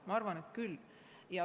Ma arvan, et võiksid küll.